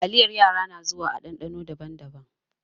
Taliyar yara na zuwa a ɗanɗano daban-daban.